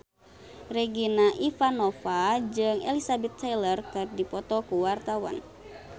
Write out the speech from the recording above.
Regina Ivanova jeung Elizabeth Taylor keur dipoto ku wartawan